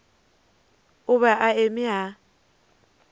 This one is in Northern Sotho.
o be a eme a